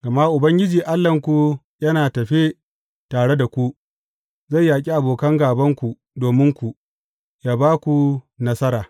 Gama Ubangiji Allahnku, yana tafe tare da ku, zai yaƙi abokan gābanku dominku, yă ba ku nasara.